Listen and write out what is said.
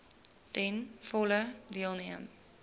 ten volle deelneem